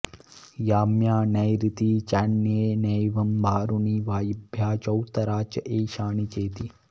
याम्या नैरृती चान्येनैवं वारुणी वायव्या चौत्तरा च एशानि चेति